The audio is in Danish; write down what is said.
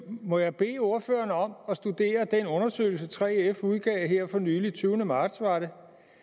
må jeg bede ordføreren om at studere den undersøgelse 3f udgav her for nylig tyvende marts var det